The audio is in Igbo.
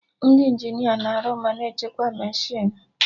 Ndị Injinia na-arụ ma na-echekwa mechinu